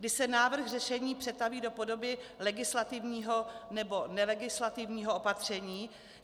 Kdy se návrh řešení přetaví do podoby legislativního nebo nelegislativního opatření?